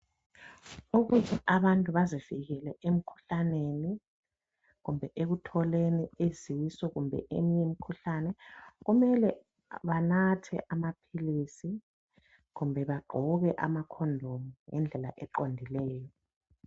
Ukuze abantu bazivikele emkhuhlaneni kumbe ekutholeni izisu kumbe eminye imikhuhlane kumele banathe amaphilisi kumbe bagqoke amakhondomu ngendlela eqondileyo.